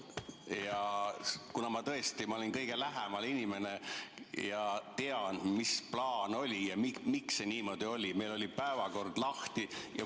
Ma tõesti olin kõige lähemal ja tean, mis plaan oli ja miks see niimoodi oli, meil oli päevakord lahti.